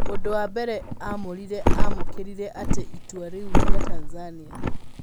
ũndũwa mbere amũririe amũkĩrire atĩa itua rĩu rĩa Tanzanĩa.